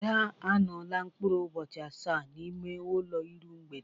Ada anọọla mkpụrụ ụbọchị asaa n'ime ụlọ iru mgbede.